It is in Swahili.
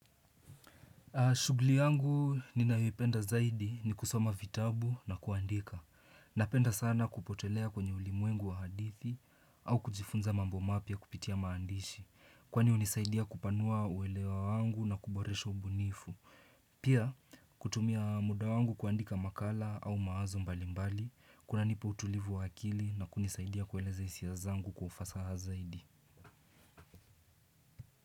Shughuli yangu ninayopenda zaidi ni kusoma vitabu na kuandika. Napenda sana kupotelea kwenye ulimwengu wa hadithi au kujifunza mambo mapya kupitia maandishi. Kwani hunisaidia kupanua uelewa wangu na kuboresha ubunifu. Pia kutumia muda wangu kuandika makala au mawazo mbalimbali. Kunanipa utulivu wa akili na kunisaidia kueleza hisia zangu ufasaha zaidi.